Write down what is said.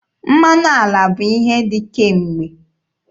Mmanụ ala bụ ihe dị kemgbe.